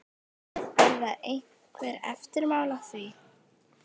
Verða einhver eftirmál að því?